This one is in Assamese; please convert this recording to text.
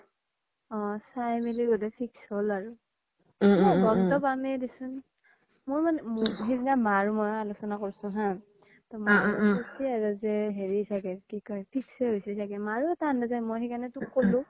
অ চাই মিলি বুধোই fix হ্'ল আৰু গ'মতো পামে দেচোন সেইদিনা মা আৰু মই আলোচ্না কৰিছো হা কৈছি আৰু যে হেৰি চাগে কি কই fix য়ে হৈছি চাগে মাৰু এটা অনুজই সেইকাৰনে তোক ক'লো